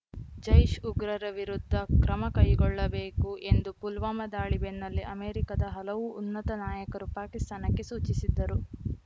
ಜೈಷ್‌ ಉಗ್ರರ ವಿರುದ್ಧ ಕ್ರಮ ಕೈಗೊಳ್ಳಬೇಕು ಎಂದು ಪುಲ್ವಾಮಾ ದಾಳಿ ಬೆನ್ನಲ್ಲೇ ಅಮೆರಿಕದ ಹಲವು ಉನ್ನತ ನಾಯಕರು ಪಾಕಿಸ್ತಾನಕ್ಕೆ ಸೂಚಿಸಿದ್ದರು